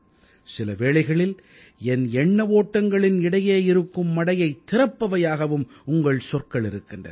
சில வேளைகளில் என் எண்ண ஓட்டங்களின் இடையே இருக்கும் மடையைத் திறப்பவையாகவும் உங்கள் சொற்கள் இருக்கின்றன